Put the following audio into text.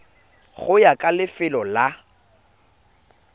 go ya ka lefelo la